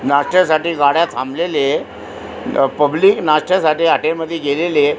नाक्यासाठी गाड्या थाबलेले अ पब्लिक नाष्ट्या साठी हाॅटेल मधी गेलेली आहे.